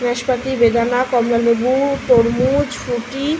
নাসপাতি বেদানা কমলালেবু তরমুজ ফুট্রি --